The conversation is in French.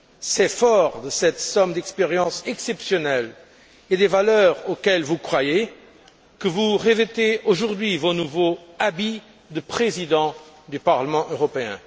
C'est fort de cette somme d'expériences exceptionnelles et des valeurs auxquelles vous croyez que vous revêtez aujourd'hui vos nouveaux habits de président du Parlement européen.